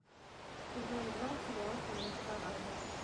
сезон два сериал конец парада